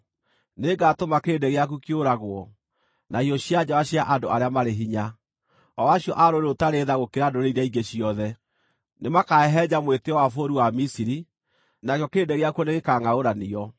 Nĩngatũma kĩrĩndĩ gĩaku kĩũragwo na hiũ cia njora cia andũ arĩa marĩ hinya, o acio a rũrĩrĩ rũtarĩ tha gũkĩra ndũrĩrĩ iria ingĩ ciothe. Nĩmakahehenja mwĩtĩĩo wa bũrũri wa Misiri, nakĩo kĩrĩndĩ gĩakuo nĩgĩkangʼaũranio.